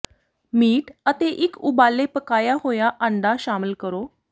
meat ਅਤੇ ਇੱਕ ਉਬਾਲੇ ਪਕਾਇਆ ਹੋਇਆ ਆਂਡਾ ਸ਼ਾਮਲ ਕਰੋ